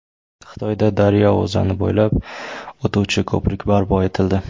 Xitoyda daryo o‘zani bo‘ylab o‘tuvchi ko‘prik barpo etildi.